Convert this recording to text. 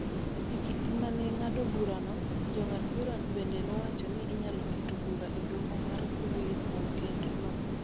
E kinde ma ne ng�ado burano, Jong'ad burago bende nowacho ni inyalo keto bura e Doho mar sivil kuom Kerno.